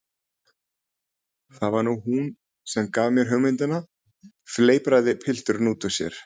Það var nú hún sem gaf mér hugmyndina- fleipraði pilturinn út úr sér.